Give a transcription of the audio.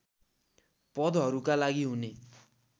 पदहरूका लागि हुने